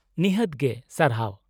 -ᱱᱤᱦᱟᱹᱛ ᱜᱮ , ᱥᱟᱨᱦᱟᱣ ᱾